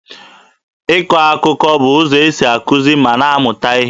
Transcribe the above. Ịkọ akụkọ bụ ụzọ esi akụzi ma na-amụta ihe.